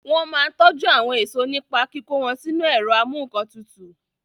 Wọ́n máa n tọjú àwọn èèso nípa kíkó wọn sínu ẹ̀rọ amúǹkantutù